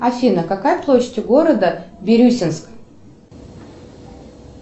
афина какая площадь у города бирюсинск